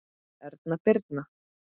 Erna Birna.